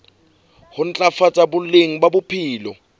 ho ntlafatsa boleng ba bophelo